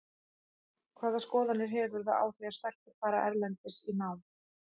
Hvaða skoðanir hefurðu á því að stelpur fari erlendis í nám?